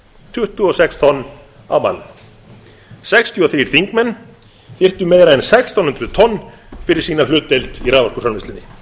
tuttugu og sex tonn á mann sextíu og þrír þingmenn þyrftu meira en sextán hundruð tonn fyrir sína hlutdeild í raforkuframleiðslunni